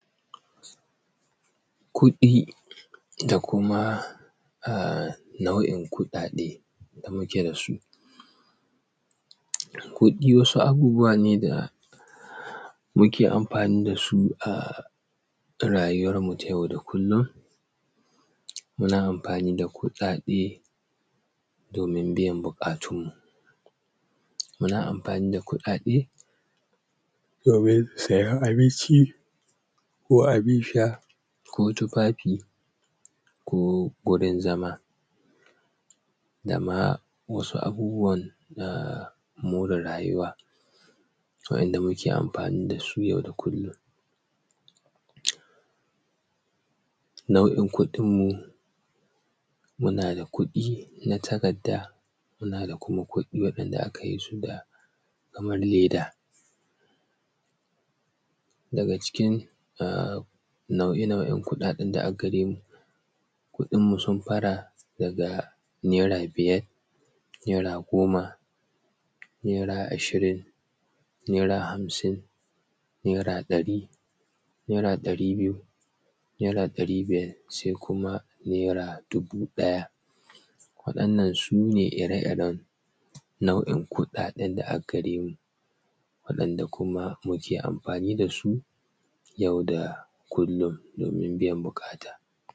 Kuɗi da kuma nau'in kuɗaɗe da muke da su. Kuɗi wasu abubuwa ne da muke amfani da su ta rayuwarmu ta yau da kullun, muna amfani da kuɗaɗe domin biyan buƙatun mu, muna amfani da kuɗaɗe domin siyan abinci, ko abun sha, ko tufafi, ko gurin zama dama wasu abubuwan na more rayuwa wa'inda muke amfani da su yau da kullun. Nau'in kuɗin mu muna da kuɗi na takarda, muna da kuma kuɗi wanda aka yi su da kamar leda. Daga cikin nau'e nau'en kuɗaɗen da aggare mu, kudinmu sun fara daga naira biyar, naira goma, naira ashirin, naira hamsin, naira ɗari, naira ɗari biyu, naira ɗari biyar, sai kuma naira dubu ɗaya. Wa'innan sune ire iren nau'in kuɗaɗen da aggaremu wa'inda kuma muke amfani da su yau da kullun domin biyan buƙata.